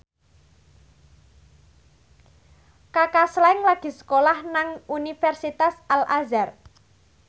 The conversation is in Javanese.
Kaka Slank lagi sekolah nang Universitas Al Azhar